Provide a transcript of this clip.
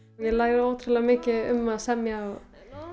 ég læri ótrúlega mikið um að semja og